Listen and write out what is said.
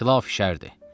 Xilaf şərdir.